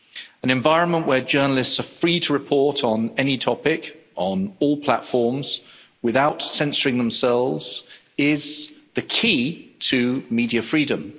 An environment where journalists are free to report on any topic, on all platforms, without censoring themselves, is the key to media freedom.